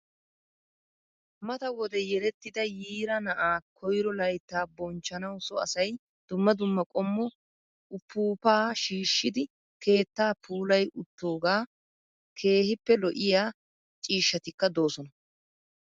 Mata wode yelettida yiira na''aa koyiro layittaa bonchchanawu so asayi dumma dumma qommo upuuppaa shiishshidi keetta puulayi uttoogaa. Keehippe lo''iyaa ciishshatikka doosona.